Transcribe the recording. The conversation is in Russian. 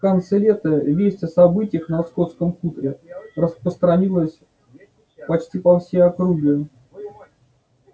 в конце лета весть о событиях на скотском хуторе распространилась почти по всей округе